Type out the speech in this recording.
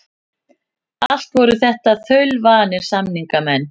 Allt voru þetta þaulvanir samningamenn.